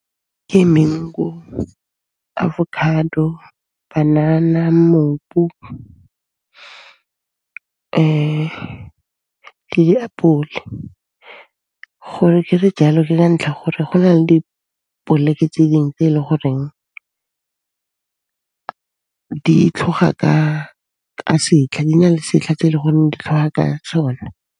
Ke mango, avocado, banana, mmopo le diapole. Go re ke di jale, ke ka ntlha ya gore go na le di poleke tse ding tse e le goreng di tlhoga ka setlha, di na le setlha tse ele goreng di tlhoga ka sona.